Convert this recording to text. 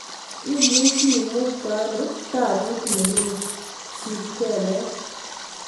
Imuchi imuktano tabut nerube sit kelek